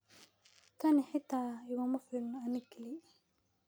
Tani xitaa iguma filna aniga keli